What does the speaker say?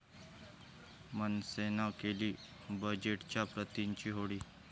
मनसेनं केली बजेटच्या प्रतिंची होळी